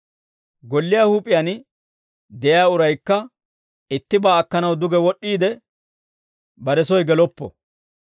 Golliyaa huup'iyaan de'iyaa uraykka ittibaa akkanaw duge wod'd'iide, bare soy geloppo.